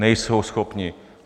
Nejsou schopni.